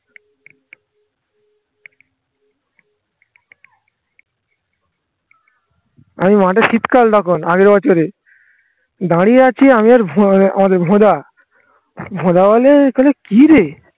আমি মাঠে শীতকাল তখন আগের বছরে দাঁড়িয়ে আছি আমি আর আমাদের ভোঁদা ভোঁদা বলে কি রে